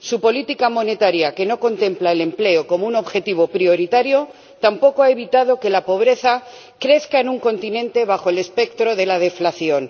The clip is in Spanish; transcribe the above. su política monetaria, que no contempla el empleo como un objetivo prioritario, tampoco ha evitado que la pobreza crezca en un continente bajo el espectro de la deflación.